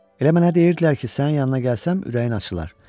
Elə mənə deyirdilər ki, sənin yanına gəlsəm ürəyin açılar.